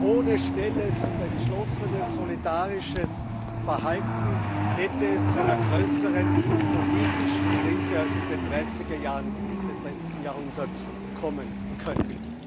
Ohne schnelles und entschlossenes solidarisches Verhalten hätte es zu einer größeren politischen Krise als in den 30er Jahren des letzten Jahrhunderts kommen können.